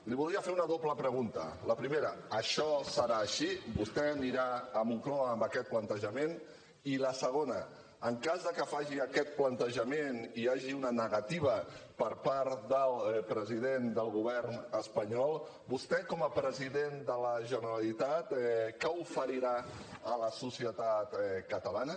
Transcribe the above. li voldria fer una doble pregunta la primera això serà així vostè anirà a moncloa amb aquest plantejament i la segona en cas que faci aquest plantejament i hi hagi una negativa per part del president del govern espanyol vostè com a president de la generalitat què oferirà a la societat catalana